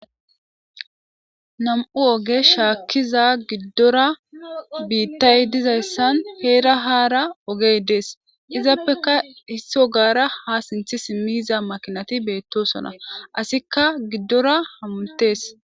nam7u oge shaakkiza giddora biittay dizayssan heera haara ogey dees izappeka hisso gaara ha sinthi simmiyiza makinati beettosona asikka giddora hamutees